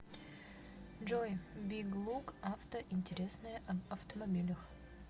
джой биг лук авто интересное об автомобилях